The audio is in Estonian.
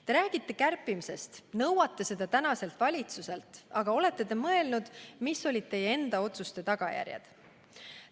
Te räägite kärpimisest, nõuate seda tänaselt valitsuselt, aga olete te mõelnud, mis olid teie enda otsuste tagajärjed?